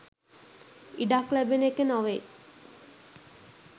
ඉඩක් ලැබෙන එක නොවෙයි.